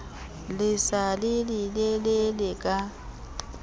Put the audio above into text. le sa le lelelele ka